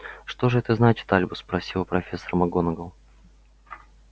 что же это значит альбус спросила профессор макгонагалл